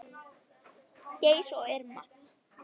Geir og Irma.